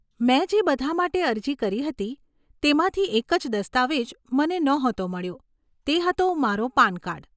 મેં જે બધાં માટે અરજી કરી હતી તેમાંથી એક જ દસ્તાવેજ મને નહોતો મળ્યો તે હતો મારો પાન કાર્ડ.